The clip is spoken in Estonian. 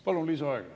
Palun lisaaega.